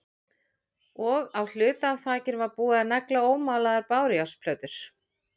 Og á hluta af þakinu var búið að negla ómálaðar bárujárnsplötur.